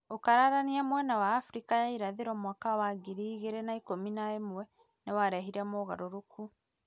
ũkararania mwena wa Abirika ya Irathĩro mwaka wa ngiri igĩrĩ na ikũmi na ĩmwe, nĩ warehire mogarũrũku